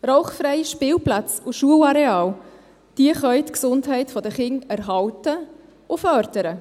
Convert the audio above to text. Rauchfreie Spielplätze und Schulareale können die Gesundheit der Kinder erhalten und fördern.